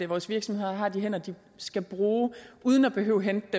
vores virksomheder har de hænder de skal bruge uden at behøve at hente